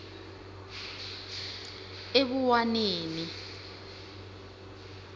ebuwaneni